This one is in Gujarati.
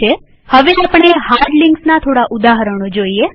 હવે આપણે હાર્ડ લિંક્સના થોડા ઉદાહરણો જોઈએ